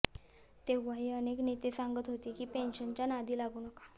तेव्हाही अनेक नेते सांगत होते की पेन्शनच्या नादी लागू नका